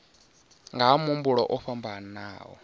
nga ha mafhungo o fhambanaho